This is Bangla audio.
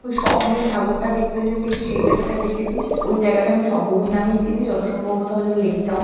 ওই স্বভূমির ঠাকুর টা দেখতে যেতে গিয়ে সেই জায়গাটা দেখেছি। ওই জায়গাটা আমি স্বভূমি নামেই চিনি। যত সম্ভব বোধহয় ওটা লেক টাউন ।